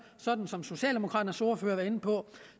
sådan som socialdemokraternes ordfører var inde på